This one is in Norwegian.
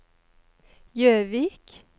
Jøvik